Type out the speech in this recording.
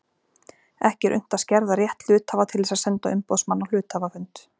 Ekki er unnt að skerða rétt hluthafa til þess að senda umboðsmann á hluthafafund.